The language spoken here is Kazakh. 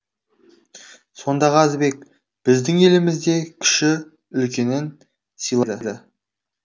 сонда қазыбек біздің елімізде кіші үлкенін сыйлайды